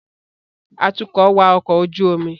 Atukọ̀ wa ọkọ̀ ojú omi